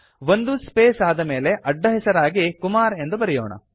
ಒಂದು ಸ್ಪೇಸ್ ಆದಮೇಲೆ ಅಡ್ಡಹೆಸರಾಗಿ ಕುಮಾರ್ ಎಂದು ಬರೆಯೋಣ